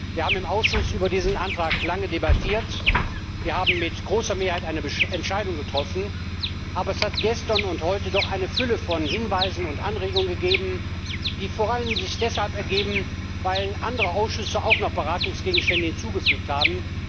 Wir haben im Ausschuss über diesen Antrag lange debattiert, wir haben mit großer Mehrheit eine Entscheidung getroffen, aber es hat gestern und heute eine Fülle von Hinweisen und Anregungen gegeben, die sich vor allem auch deshalb ergeben haben, weil andere Ausschüsse noch Beratungsgegenstände hinzugefügt haben.